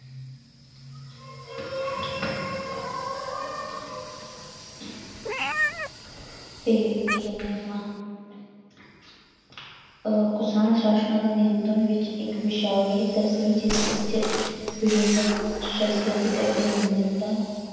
ਤੇ ਕੀ ਕਹਿਨੇ ਹਾਂ ਅਹ ਕੁਸ਼ਾਣ ਸ਼ਾਸ਼ਕਾਂ ਦੇ ਨਿਯੰਤਰਣ ਵਿੱਚ ਇੱਕ ਵਿਸ਼ਾਲ ਖੇਤਰ ਸੀ ਜਿਸ ਵਿੱਚ ਵਿਭਿੰਨ ਸੰਸਕ੍ਰਿਤਿਕ ਅਤੇ ਮਾਨਵਤਾ